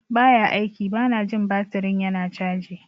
Ba ya aiki - Bana jin baturin yana caji.